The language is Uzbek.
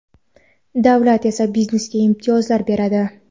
davlat esa biznesga imtiyozlar beradi.